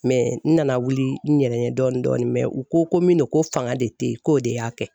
n nana wuli n yɛrɛ ye dɔɔnin dɔɔnin u ko ko min ko do ko fanga de tɛ yen, k'o de y'a kɛ.